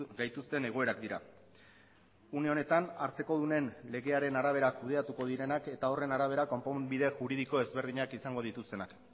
gaituzten egoerak dira une honetan hartzekodunen legearen arabera kudeatuko direnak eta horren arabera konponbide juridiko ezberdinak izango dituztenak